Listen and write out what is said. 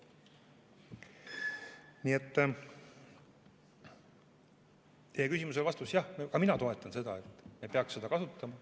Nii et vastus teie küsimusele: jah, ka mina toetan seda, et me peaksime seda kasutama.